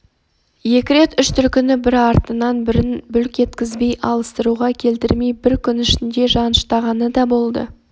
екі рет үш түлкіні бір артынан бірін бүлк еткізбей алыстыруға келтірмей бір күнде жаныштағаны да болды